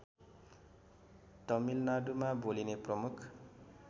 तमिलनाडुमा बोलिने प्रमुख